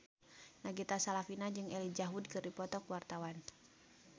Nagita Slavina jeung Elijah Wood keur dipoto ku wartawan